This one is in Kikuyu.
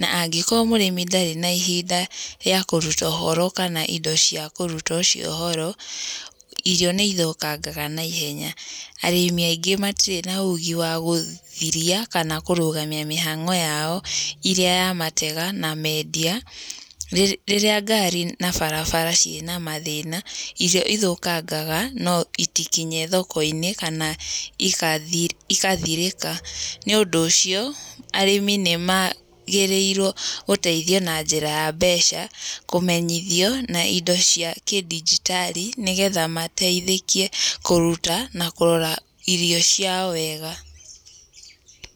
na angĩkorwo mũrimi ndarĩ na ihinda rĩa kũruta ũhoro kana indo cia kũruta ũcio ũhoro, irio nĩ ithũkangaga naihenya. Arĩmi aingĩ matirĩ na ũgĩ wa gũthiria kana kũrũgamia mĩhang'o yao irĩa ya matega na meendia. Rĩrĩa ngari na barabara ciĩna mthĩna, irio ithũkangaga no itikinye thoko-inĩ kana igathirĩka. Nĩ ũndũ ũcio, arĩmi nĩ maagĩrĩirwo gũteithio na njĩra ya mbeca, kũmenyithio na indo cia kĩ dijitali nĩgetha mateithĩke kũruta na kũrora irio ciao wega.